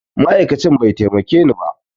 Ma'aikacin bai taimakeni ba